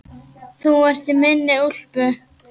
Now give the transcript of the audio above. Þú ert í minni úlpu.